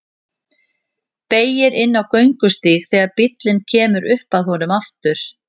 Beygir inn á göngustíg þegar bíllinn kemur upp að honum aftur.